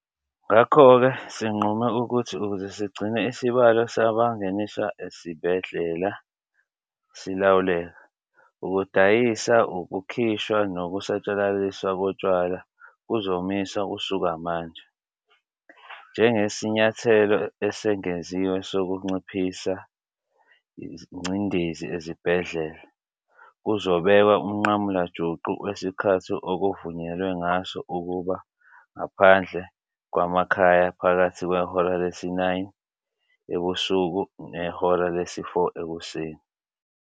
Ngakho-ke sinqume ukuthi ukuze sigcine isibalo sabangeniswa ezibhedlela silawuleka, ukudayiswa, ukukhishwa nokusatshalaliswa kotshwala kuzomiswa kusuka manje. Njengesinyathelo esengeziwe sokunciphisa ingcindezi ezibhedlela, kuzobekwa umnqamulajuqu wesikhathi okuvunyelwe ngaso ukuba ngaphandle kwamakhaya phakathi kwehora lesi-9 ebusuku nehora lesi-4 ekuseni.